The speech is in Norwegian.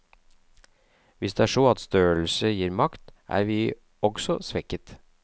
Hvis det er så at størrelse gir makt, er vi også svekket.